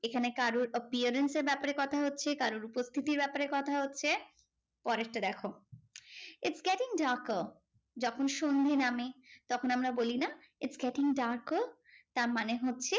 এখানে কারোর appearance এর ব্যাপারে কথা হচ্ছে। কারোর উপস্থিতির উপরে কথা হচ্ছে। পরেরটা দেখো, it's getting darker যখন সন্ধে নামে, তখন আমরা বলি না? it's getting darker তার মানে হচ্ছে,